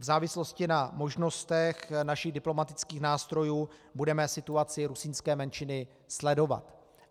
V závislosti na možnostech našich diplomatických nástrojů budeme situaci rusínské menšiny sledovat.